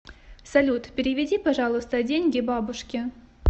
салют переведи пожалуйста деньги бабушке